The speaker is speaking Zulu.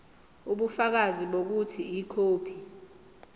ubufakazi bokuthi ikhophi